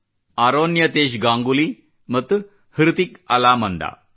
ಅರೋನ್ಯತೇಶ್ ಗಾಂಗೂಲಿ ಮತ್ತು ಹೃತಿಕ್ ಅಲಾಮಂದಾ